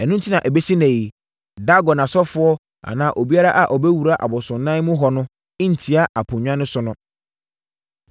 Ɛno enti na ɛbɛsi ɛnnɛ yi, Dagon asɔfoɔ anaa obiara a ɔbɛwura abosonnan mu hɔ no ntia aponnwa no so no.